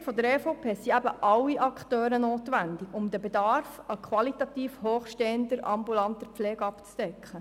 Aus Sicht der EVP sind alle Akteure notwendig, um den Bedarf an qualitativ hochstehender ambulanter Pflege zu decken.